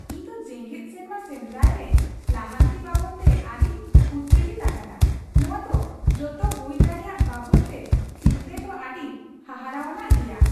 ᱤᱧ ᱫᱚ ᱡᱮᱜᱮᱫ ᱥᱮᱨᱢᱟ ᱥᱮᱸᱫᱨᱟᱭ ᱨᱮ ᱞᱟᱦᱟᱱᱛᱤ ᱵᱟᱵᱚᱫᱛᱮ ᱟᱹᱰᱤᱧ ᱩᱛᱛᱮᱡᱤᱛᱚ ᱟᱠᱟᱱᱟ ᱾ ᱱᱚᱣᱟ ᱫᱚ ᱡᱚᱛᱚ ᱦᱩᱭ ᱫᱟᱲᱮᱭᱟᱜ ᱵᱟᱵᱚᱫᱛᱮ ᱪᱤᱱᱛᱟᱹᱭ ᱫᱚ ᱟᱹᱰᱤ ᱦᱟᱦᱟᱲᱟᱣᱟᱱᱟᱜ ᱜᱮᱭᱟ ᱾